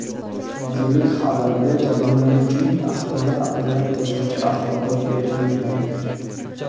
Vazirlik xabarida jabrlanuvchining ahvoli haqida qo‘shimcha axborot berilmagan.